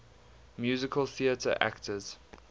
musical theatre actors